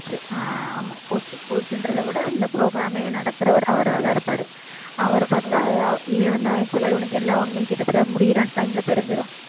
ஆஹ் ஆமா coach coach ன்றதை விட இந்த program ஏ நடத்தறவரு அவராத்தான் இருப்பாரு அவரைப் பாத்தா இவன் வந்து actual ஆ இவனுக்கு எல்லா உண்மையும் கிட்டத்தட்ட முடியற time ல தெரிஞ்சிரும்